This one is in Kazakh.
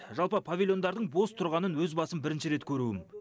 жалпы павильондардың бос тұрғанын өз басым бірінші рет көруім